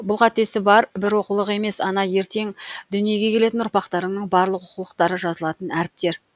бұл қатесі бар бір оқулық емес ана ертең дүниеге келетін ұрпақтарыңның барлық оқулықтары жазылатын әріптер